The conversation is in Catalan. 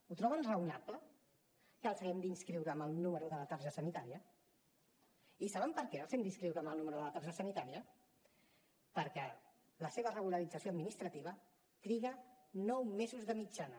ho troben raonable que els hi haguem d’inscriure amb el número de la targeta sanitària i saben per què els hi hem d’inscriure amb el número de la targeta sanitària perquè la seva regularització administrativa triga nou mesos de mitjana